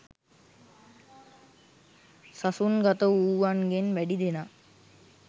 සසුන්ගතවූවන්ගෙන් වැඩිදෙනා